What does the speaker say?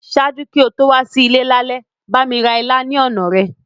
Ṣaaju ki o to wa si ile lálẹ́, bámi ra ilá ni ọna rẹ.